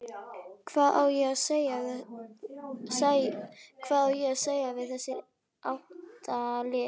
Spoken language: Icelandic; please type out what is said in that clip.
Hvað á að segja við þessi átta lið?